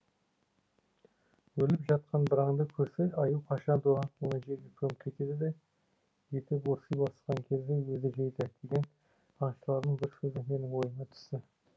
өліп жатқан бір аңды көрсе аю қашанда оны жерге көміп кетеді де еті борси бастаған кезде өзі жейді деген аңшылардың бір сөзі менің ойыма түсті